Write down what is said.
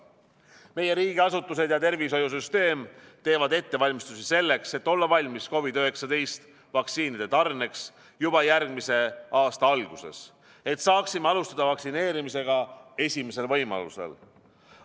Meie riigiasutused ja tervishoiusüsteem teevad ettevalmistusi selleks, et olla valmis COVID-19 vaktsiinide tarneks juba järgmise aasta alguses, et saaksime alustada vaktsineerimist esimesel võimalusel.